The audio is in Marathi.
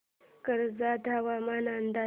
कर्जत हवामान अंदाज